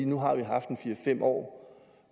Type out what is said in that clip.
nu har vi haft fire fem år